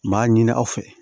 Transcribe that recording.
N b'a ɲini aw fɛ